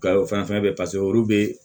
Gawo fɛn fɛn bɛ yen paseke olu bɛ